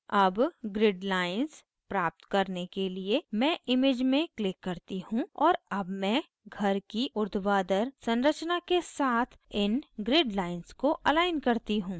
अब grid lines प्राप्त करने के लिए मैं image में click करती हूँ और अब मैं घर की उर्ध्वाधर संरचना के साथ इन grid lines को अलाइन करती हूँ